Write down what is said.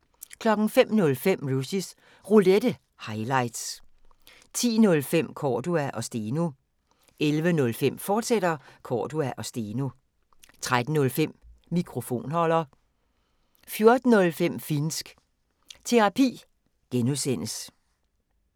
05:05: Rushys Roulette – highlights 10:05: Cordua & Steno 11:05: Cordua & Steno, fortsat 13:05: Mikrofonholder 14:05: Finnsk Terapi (G)